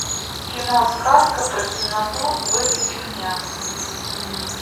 кино сказка про темноту выведи мне